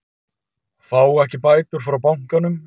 Fá ekki bætur frá bankanum